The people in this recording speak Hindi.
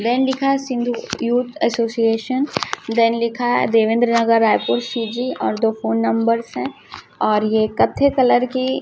देन लिखा हैं सिंधु यूथ एसोसिएशन देन लिखा है देवेंद्र नगर रायपुर सी_जी और दो फोन नंबर्स है और ये कत्थे की--